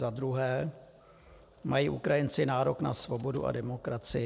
Za druhé: Mají Ukrajinci nárok na svobodu a demokracii?